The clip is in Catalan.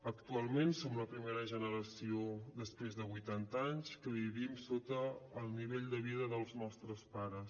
actualment som la primera generació després de vuitanta anys que vivim sota el nivell de vida dels nostres pares